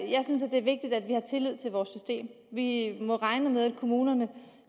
jeg synes det er vigtigt at vi har tillid til vores system vi må regne med at kommunerne